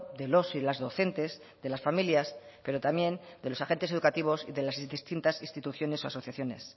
de los y las docentes de las familias pero también de los agentes educativos y de las distintas instituciones o asociaciones